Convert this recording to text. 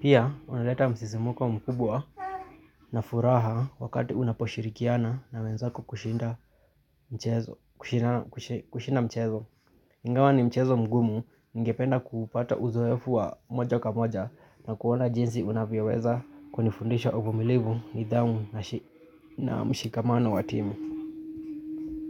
Pia, unaleta msisimuko mkubwa na furaha wakati unaposhirikiana na wenzako kushinda mchezo. Ingawa ni mchezo mgumu, ngependa kupata uzoefu wa moja kwa moja na kuona jinsi unavyoweza kunifundisha uvumilivu nidhamu na mshikamano wa team.